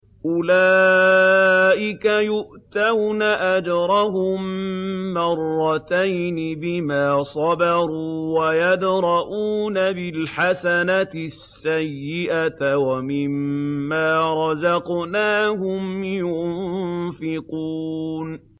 أُولَٰئِكَ يُؤْتَوْنَ أَجْرَهُم مَّرَّتَيْنِ بِمَا صَبَرُوا وَيَدْرَءُونَ بِالْحَسَنَةِ السَّيِّئَةَ وَمِمَّا رَزَقْنَاهُمْ يُنفِقُونَ